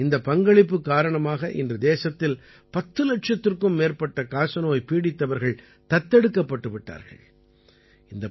இந்தப் பங்களிப்பு காரணமாக இன்று தேசத்தில் பத்து இலட்சத்திற்கும் மேற்பட்ட காசநோய் பீடித்தவர்கள் தத்தெடுக்கப்பட்டு விட்டார்கள்